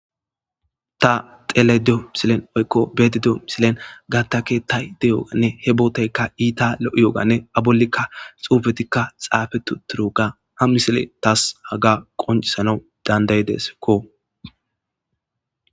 Ta tele dyo misilen oykko beedido misilen gatta kettay deyoganne he booteykka iita lo'iyooganne abolikka xuufetikka xaafetu turoga ha misile taas haga qoncisanau dandayideskko.